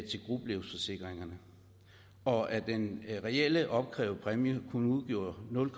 til gruppelivsforsikringerne og at den reelt opkrævede præmier kun udgjorde nul